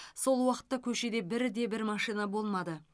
сол уақытта көшеде бірде бір машина болмады